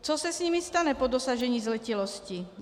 Co se s nimi stane po dosažení zletilosti?